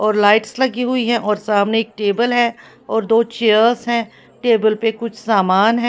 और लाइट्स लगी हुई है और सामने एक टेबल है और दो चेयर्स हैं टेबल पर कुछ सामान है।